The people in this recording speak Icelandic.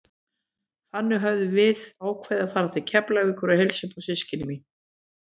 Þann dag höfðum við ákveðið að fara til Keflavíkur og heilsa upp á systkini mín.